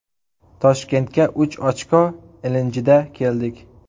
Toshkentga uch ochko ilinjida keldik.